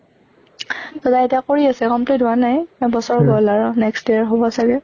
তʼ তাই এতিয়া কৰি আছে complete হোৱা নাই, এবছৰ হʼল আৰু next year হʼব চাগে।